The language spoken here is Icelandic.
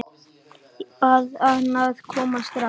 Bað hana að koma strax.